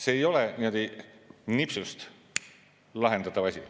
See ei ole niimoodi nipsust lahendatav asi.